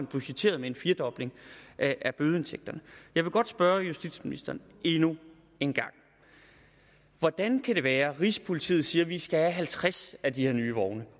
budgettere med en firedobling af bødeindtægterne jeg vil godt spørge justitsministeren endnu en gang hvordan kan det være at rigspolitiet siger at vi skal have halvtreds af de her nye vogne